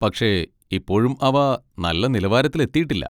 പക്ഷേ, ഇപ്പോഴും അവ നല്ല നിലവാരത്തിലെത്തിയിട്ടില്ല.